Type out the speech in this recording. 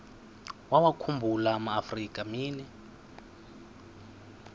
wawakhumbul amaafrika mini